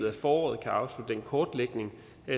af foråret kan afslutte den kortlægning